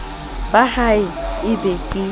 ba ha e be ke